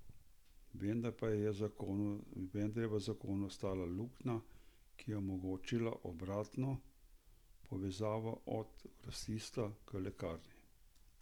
Vendar pa je v zakonu ostala luknja, ki je omogočala obratno, povezavo od grosista k lekarni.